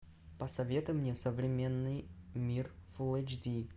посоветуй мне современный мир фулл эйч ди